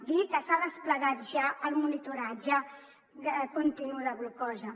dir que s’ha desplegat ja el monitoratge continu de glucosa